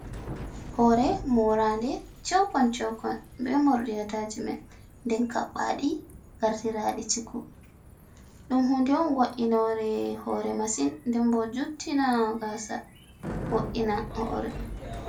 Hore moranɗe cheukon cheukon be morɗi ataciment den kaɓɓaɗi gartiraɗi ciku. ɗum hunɗe on woinore hore masin nden bo juttina gasa woɗɗina hore